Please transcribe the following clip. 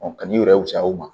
ka n'i yɛrɛ wusa o ma